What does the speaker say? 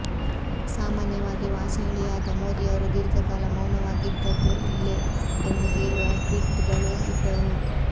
ಸಾಮಾನ್ಯವಾಗಿ ವಾಚಾಳಿಯಾದ ಮೋದಿಯವರು ದೀರ್ಘಕಾಲ ಮೌನವಾಗಿದ್ದದ್ದು ಇಲ್ಲೇ ಎಂದು ಹೇಳುವ ಟ್ವೀಟ್ಗಳೂ ಇದ್ದವು